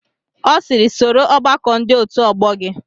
Ọ sịịrị, soro ọgbakọ ndị otu ọgbọ gị!